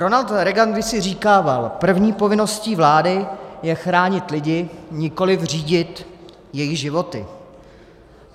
Ronald Reagan kdysi říkával: První povinností vlády je chránit lidi, nikoliv řídit jejich životy.